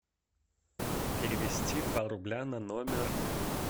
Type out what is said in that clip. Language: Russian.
перевести два рубля на номер